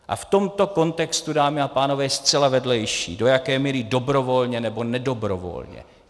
A v tomto kontextu, dámy a pánové, je zcela vedlejší, do jaké míry dobrovolně nebo nedobrovolně.